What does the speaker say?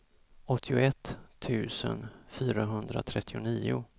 åttioett tusen fyrahundratrettionio